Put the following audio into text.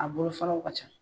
A bolo faraw ka ca.